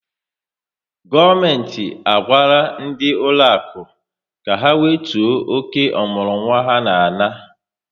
Gọọmenti a gwara ndị ụlọakụ ka ha wetuo oke ọmụrụnwa ha na-ana